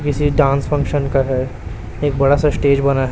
किसी dance function का है एक बड़ा सा स्टेज बना है।